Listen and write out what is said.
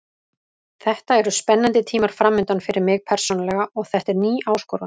Þetta eru spennandi tímar framundan fyrir mig persónulega og þetta er ný áskorun.